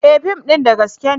E! fim din da gaske ne.